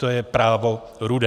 To je Právo... rudé.